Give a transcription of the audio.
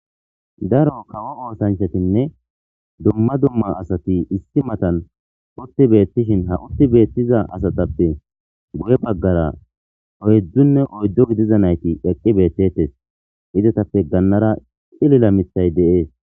daro kawo oosanchatinne dumma dumma asati issi matan utti beettishin ha utti beettiza asatappe guye baggara oyedzdzunne oyddo gidiza nayti eqqi beettettes izetappe gannara xilila mithay de7ees